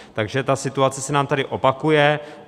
Takže ta situace se nám tady opakuje.